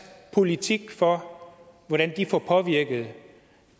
politik for hvordan de får påvirket